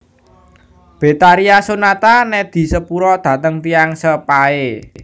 Betharia Sonata nedhi sepura dateng tiyang sepahe